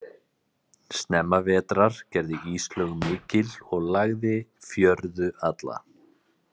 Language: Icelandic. Snemma vetrar gerði íslög mikil og lagði fjörðu alla.